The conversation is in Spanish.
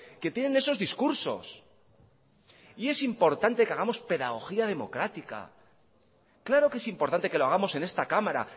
que tienen esos discursos y es importante que hagamos pedagogía democrática claro que es importante que lo hagamos en esta cámara